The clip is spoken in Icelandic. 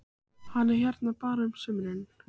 Hann er hérna bara á sumrin.